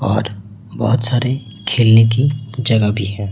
और बहोत सारे खेलने की जगह भी है।